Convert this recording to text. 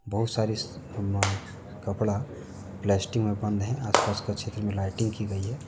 बहुत सारे कपड़ा प्लास्टिक में बन्द हैं आस पास के क्षेत्र में लाइटिंग की है।